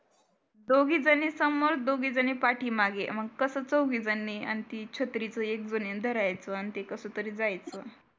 दोघीजणी समोर दोघीजणी पाठीमागे मग कसा चौघी जणी आणि ती छत्रीच एक जनीनी धरायचं आणि ते कसं तरी जायचं